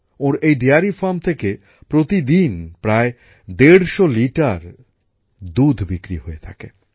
ওঁর এই dairy farm থেকে প্রতিদিন প্রায় দেড়শ লিটার দুধ বিক্রি হয়ে থাকে